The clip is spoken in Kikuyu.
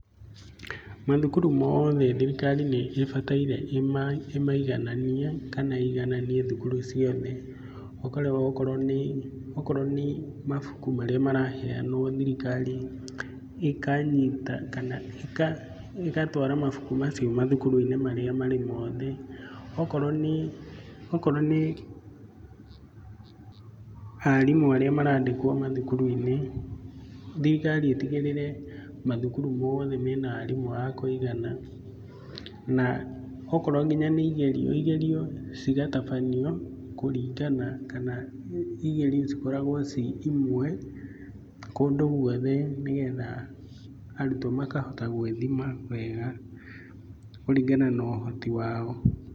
Mathukuru moothe thirikari nibataire imaigananie kana ĩigananie thukuru ciothe, ũkarora okorwo nĩ, okorwo nĩ mabuku maria maraheanwo thirikari ikanyita kana ĩka ĩgatwara mabuku macio mathukuru-inĩ marĩa marĩ mothe. Okorwo nĩ, okorwo nĩ arimũ arĩa marandĩkwo mathukuru-inĩ thirikari ĩtigĩrĩre mathukuru mothe mena arimũ akũigana na okorwo nginya nĩ igerio, igerio cigatabanio kũringana kana igerio cikoragwo ci imwe kundũ gũothe nĩgetha arũtwo makahota gwĩthima wega kũringana na ũhoti wao.